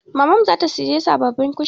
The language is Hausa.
Mamanmu za ta sayi sababbin kushin.